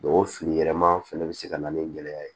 o fili yɛlɛma fɛnɛ bɛ se ka na ni gɛlɛya ye